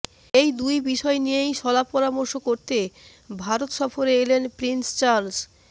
এই দুই বিষয় নিয়েই শলা পরামর্শ করতে ভারত সফরে এলেন প্রিন্স চার্লস